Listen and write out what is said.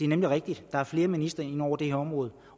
nemlig rigtigt at der er flere ministre ind over det her område